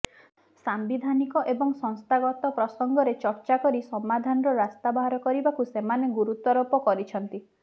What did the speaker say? ସାମ୍ବିଧାନିକ ଏବଂ ସଂସ୍ଥାଗତ ପ୍ରସଙ୍ଗରେ ଚର୍ଚ୍ଚା କରି ସମାଧାନର ରାସ୍ତା ବାହାର କରିବାକୁ ସେମାନେ ଗୁରୁତ୍ୱାରୋପ କରିଛନ୍ତିି